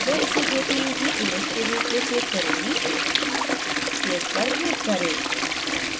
मैं इसे jpeg image के रूप में सेव करुँगी save पर click करें